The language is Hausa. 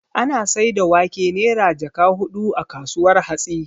Ana saida wake Naira jaka hudu a kasuwar hatsi